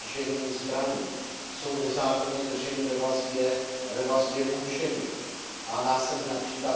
z držení zbraní, jsou nezákonně drženi ve vazbě a ve vazbě mučeni a následně např.